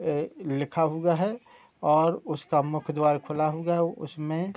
यह लिखा हुआ है और उसका मुख्य द्वार खुला हुआ है उसमे --